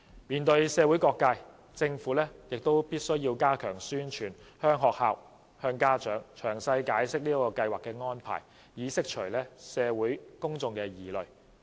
面對社會各界，政府亦須加強宣傳，向學校和家長詳細解釋這計劃的安排，以釋除社會公眾的疑慮。